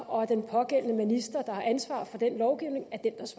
og at den pågældende minister der har ansvar for den lovgivning